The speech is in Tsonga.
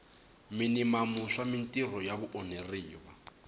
minimamu swa mintirho ya vaonheriwa